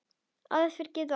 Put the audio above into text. Aðför getur átt við